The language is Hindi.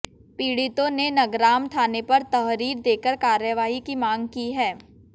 पीडि़तों ने नगराम थाने पर तहरीर देकर कार्रवाई की मांग की है